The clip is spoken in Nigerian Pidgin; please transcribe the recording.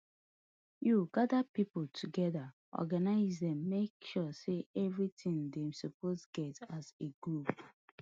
you gada pipo togeda organise dem make sure say evritin dem suppose get as a group